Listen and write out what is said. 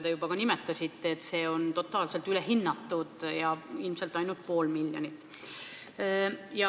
Te juba ka nimetasite, et see on totaalselt ülehinnatud ja ilmselt on õige ainult pool miljonit.